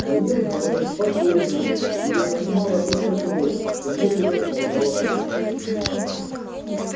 боец говорил спокойно его занимала только кровь что медленно сползала по щеке